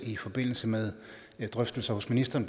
i forbindelse med drøftelser hos ministeren